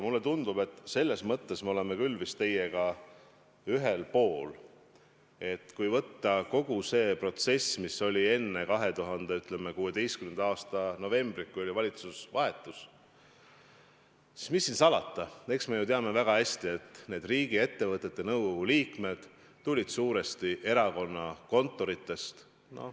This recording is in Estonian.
Mulle tundub, et selles mõttes me oleme küll vist teiega ühel pool joont, et kui võtta kogu see protsess, mis oli enne 2016. aasta novembrit, kui oli valitsuse vahetus, siis mis siin salata, eks me ju teame väga hästi, et need riigiettevõtete nõukogude liikmed tulid suuresti erakonnakontoritest.